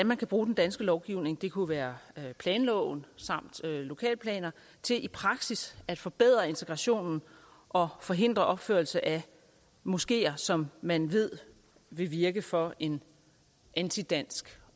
man bruge den danske lovgivning det kunne være planloven samt lokalplaner til i praksis at forbedre integrationen og forhindre opførelse af moskeer som man ved vil virke for en antidansk